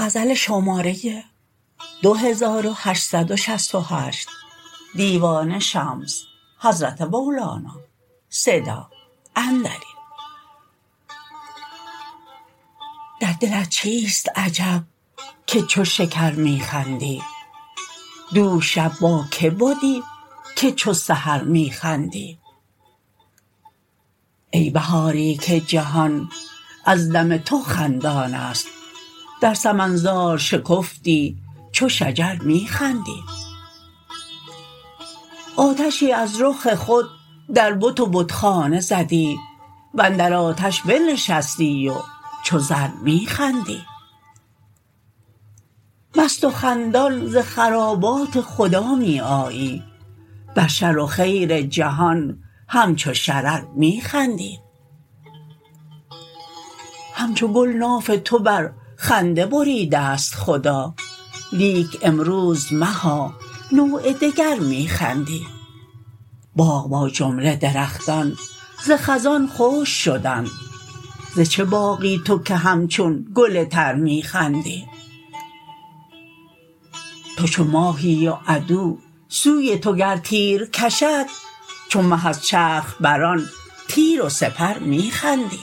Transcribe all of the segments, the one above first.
در دلت چیست عجب که چو شکر می خندی دوش شب با کی بدی که چو سحر می خندی ای بهاری که جهان از دم تو خندان است در سمن زار شکفتی چو شجر می خندی آتشی از رخ خود در بت و بتخانه زدی و اندر آتش بنشستی و چو زر می خندی مست و خندان ز خرابات خدا می آیی بر شر و خیر جهان همچو شرر می خندی همچو گل ناف تو بر خنده بریده ست خدا لیک امروز مها نوع دگر می خندی باغ با جمله درختان ز خزان خشک شدند ز چه باغی تو که همچون گل تر می خندی تو چو ماهی و عدو سوی تو گر تیر کشد چو مه از چرخ بر آن تیر و سپر می خندی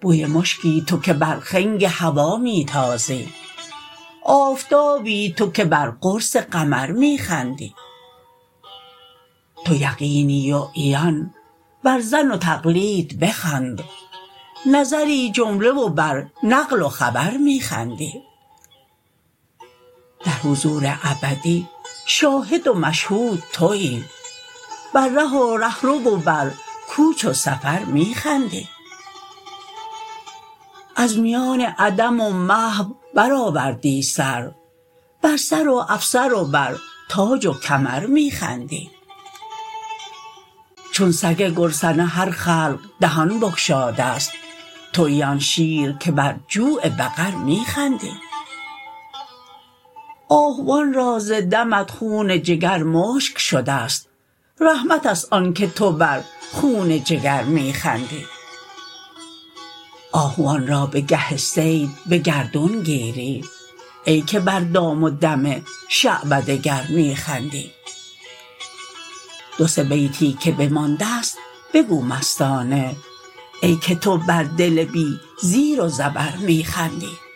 بوی مشکی تو که بر خنگ هوا می تازی آفتابی تو که بر قرص قمر می خندی تو یقینی و عیان بر ظن و تقلید بخند نظری جمله و بر نقل و خبر می خندی در حضور ابدی شاهد و مشهود توی بر ره و ره رو و بر کوچ و سفر می خندی از میان عدم و محو برآوردی سر بر سر و افسر و بر تاج و کمر می خندی چون سگ گرسنه هر خلق دهان بگشاده ست توی آن شیر که بر جوع بقر می خندی آهوان را ز دمت خون جگر مشک شده ست رحمت است آنک تو بر خون جگر می خندی آهوان را به گه صید به گردون گیری ای که بر دام و دم شعبده گر می خندی دو سه بیتی که بمانده ست بگو مستانه ای که تو بر دل بی زیر و زبر می خندی